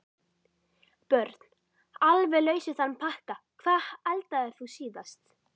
Börn: Alveg laus við þann pakka Hvað eldaðir þú síðast?